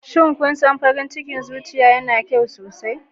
Shin, kun san cewa farin cikin zuciya yana yin kyau sosai?